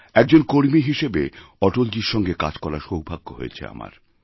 একজন কর্মী হিসেবে অটলজীর সঙ্গে কাজ করারসৌভাগ্য হয়েছে আমার